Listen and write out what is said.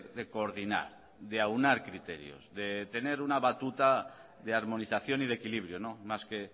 de coordinar de aunar criterios de tener una batuta de armonización y de equilibrio más que